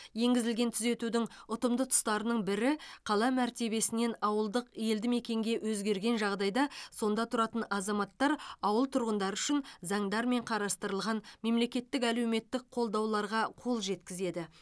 енгізілген түзетудің ұтымды тұстарының бірі қала мәртебесінен ауылдық елді мекенге өзгерген жағдайда сонда тұратын азаматтар ауыл тұрғындары үшін заңдармен қарастырылған мемлекеттік әлеуметтік қолдауларға қол жеткізеді